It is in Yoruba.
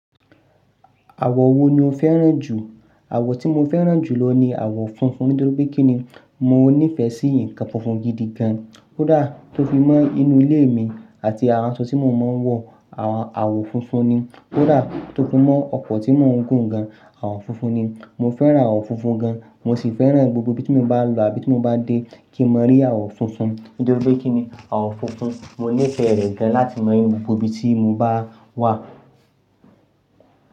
Àwọ̀ wo ni o fẹ́ràn jù? Àwọ̀ tí mo fẹ́ràn jù lọ ni àwọ̀ funfun nítorí pé kí ni mo níìfẹ̀ sí nǹkan funfun gidi gan. Ó dà tó fi mọ́ inú ilé mi àti ara ń sọ tí mo máa ń wọ̀, à àwọ̀ funfun ni. Ó dà tó fi mọ́ ọkọ̀ tí mo ń gùn gan, àwọ̀ funfun ni. Mo fẹ́ràn àwọ̀ funfun gan, mo sì fẹ́ràn gbogbo ibi tí mo bá lọ àbí tí mo bá dé kí mo rí àwọ̀ funfun. Nítorí pé kí ni àwọ̀ funfun, mo níìfẹ̀ rẹ̀ gan láti mọ́ gbogbo ibi tí mo bá wà.